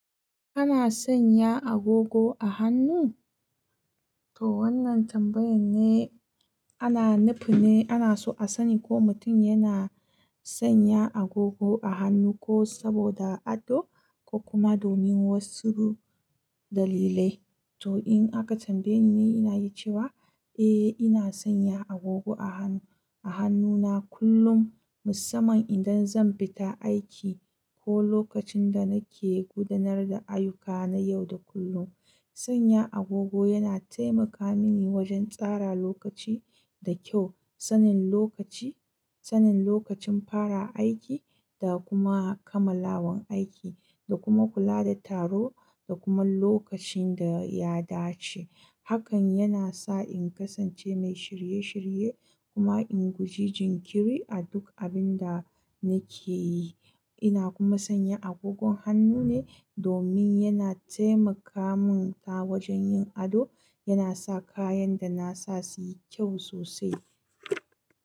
Kana sanya agogo a hannu? To wannan tambayan ne ana nufin ne ana so a sani ko mutum yana sanya agogo a hannu ko saboda ado ko kuma domin wasu dalilai. To in aka tambaye ni, ni ina iya cewa eh ina sanya agogo a hannu, a hannuna kullum musamman idan zan fita aiki ko lokacin da nake gudanar da ayyuka na yau da kullum. Sanya agogo yana taimaka mini wajen tsara lokaci da kyau, sanin lokaci, sanin lokacin fara aiki da kuma kammalawan aiki da kuma kula da taro da kuma lokacin da ya dace. Hakan yana sa in kasance mai shirye shirye, kuma in guji jinkiri a duk abin da nake yi. Ina kuma sanya agogon hannu ne domin yana taimakamun ta wajen yin ado, yana sa kayan da na sa su yi kyau sosai.